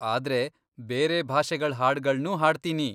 ಆದ್ರೆ ಬೇರೆ ಭಾಷೆಗಳ್ ಹಾಡ್ಗಳ್ನೂ ಹಾಡ್ತೀನಿ.